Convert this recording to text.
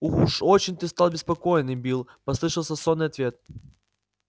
уж очень ты стал беспокойный билл послышался сонный ответ